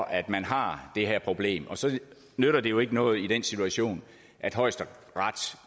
at man har det her problem og så nytter det jo ikke noget i den situation at højesteret